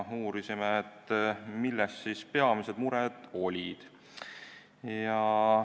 Uurisime, mis peamised mured olid.